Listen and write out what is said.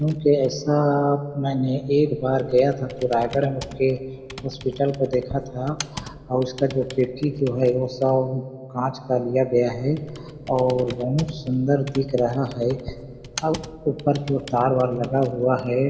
क्योंकि ऐसा मैंने एक बार गया था तो रायगढ़ के हॉस्पिटल को देखा था और उसका जो खिड़की जो है वो सब कांच का लिया गया है और बहुत सुंदर दिख रहा है अब ऊपर की ओर तारवार लगा हुआ है।